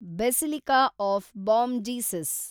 basilica of Bom Jesus